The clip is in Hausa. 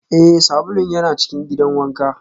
Ee, sabulun yana cikin gidan wanka